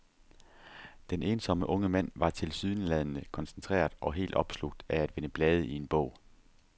Den ensomme unge mand var tilsyneladende koncentreret og helt opslugt af at vende blade i en bog.